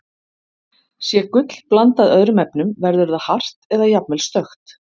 Sé gull blandað öðrum efnum, verður það hart eða jafnvel stökkt.